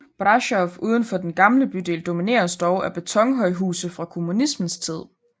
Brașov uden for den gamle bydel domineres dog af betonhøjhuse fra kommunismens tid